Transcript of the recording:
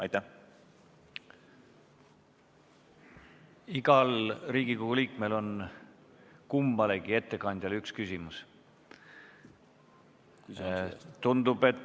Iga Riigikogu liige saab kummalegi ettekandjale esitada ühe küsimuse.